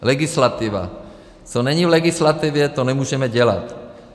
Legislativa - co není v legislativě, to nemůžeme dělat.